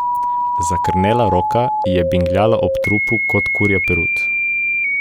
Zakrnela roka ji je bingljala ob trupu kot kurja perut.